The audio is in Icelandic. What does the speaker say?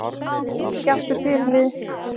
Ekki aftur fyrirliði